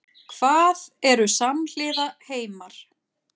Hvað eru samhliða heimar?